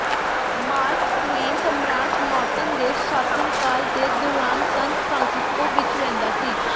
mark Twain ਸਮਰਾਟ Norton ਦੇ ਸ਼ਾਸਨਕਾਲ ਦੇ ਦੌਰਾਨ ਸਨ ਫ੍ਰਾਂਸਿਸਕੋ ਵਿੱਚ ਰਹਿੰਦਾ ਸੀ